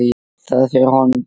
Það fer honum bara vel.